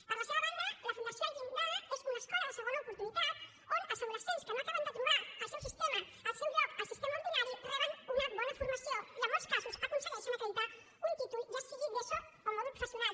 per la seva banda la fundació el llindar és una escola de segona oportunitat on els adolescents que no acaben de trobar el seu lloc al sistema ordinari reben una bona formació i en molts casos aconsegueixen acreditar un títol ja sigui d’eso o mòdul professional